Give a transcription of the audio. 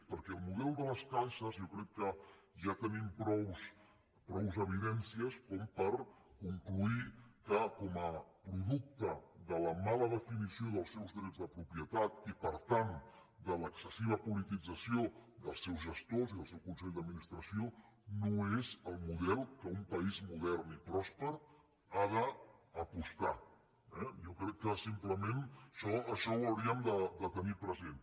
perquè el model de les caixes jo crec que ja tenim prou evidències com per concloure que com a producte de la mala definició dels seus drets de propietat i per tant de l’excessiva politització dels seus gestors i dels seus consells d’administració no és el model pel qual un país modern i pròsper ha d’apostar eh jo crec que simplement això ho hauríem de tenir present